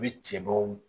U bɛ cɛbaw